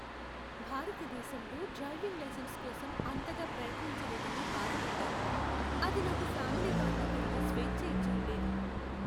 భారతదేశంలో driving licence కోసం అంతగా ప్రయత్నించలేదని బాధపడ్డాను. అది నాకు ఫ్యామిలీ కారులో తిరిగే స్వేచ్చ ఇచ్చి ఉండేది.